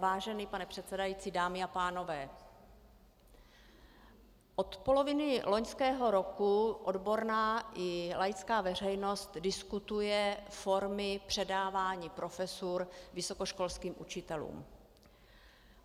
Vážený pane předsedající, dámy a pánové, od poloviny loňského roku odborná i laická veřejnost diskutuje formy předávání profesur vysokoškolským učitelům.